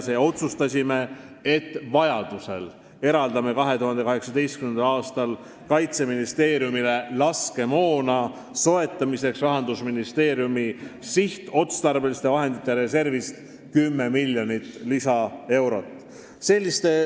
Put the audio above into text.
Me otsustasime, et vajaduse korral eraldame 2018. aastal Kaitseministeeriumile laskemoona soetamiseks Rahandusministeeriumi sihtotstarbeliste vahendite reservist 10 miljonit lisaeurot.